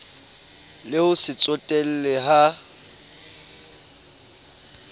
le ho se tsotelle ha